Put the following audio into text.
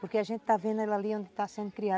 Porque a gente está vendo ela ali onde está sendo criada.